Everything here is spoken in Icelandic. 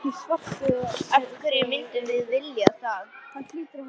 Af hverju myndum við vilja það?